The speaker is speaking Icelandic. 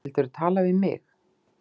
Vildirðu tala við mig?